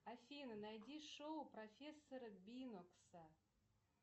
афина найди шоу профессора бинокса